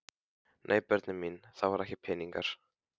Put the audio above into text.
Nei börnin mín, það voru ekki peningar.